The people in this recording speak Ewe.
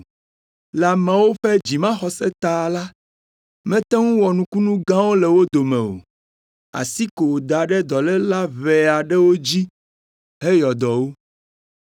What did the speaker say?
Le ameawo ƒe dzimaxɔse ta la, mete ŋu wɔ nukunu gãwo le wo dome o, asi ko wòda ɖe dɔléla ʋɛ aɖewo dzi heyɔ dɔ wo.